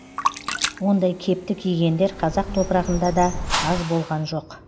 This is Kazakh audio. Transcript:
ондай кепті кигендер қазақ топырағында да аз болған жоқ